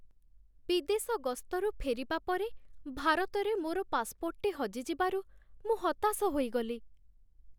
ବିଦେଶ ଗସ୍ତରୁ ଫେରିବା ପରେ, ଭାରତରେ ମୋର ପାସପୋର୍ଟଟି ହଜିଯିବାରୁ ମୁଁ ହତାଶ ହୋଇଗଲି।